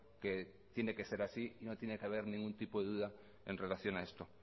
que tiene que ser así no tiene que haber ningún tipo de duda en relación a esto